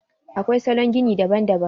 Akwai salon gini daban daban.